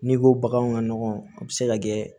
N'i ko baganw ka nɔgɔ a bɛ se ka kɛ